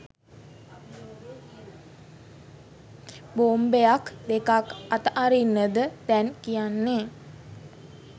බෝම්බයක් දෙකක් අතරින්නද දැන් කියන්නේ